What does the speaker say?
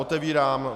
Otevírám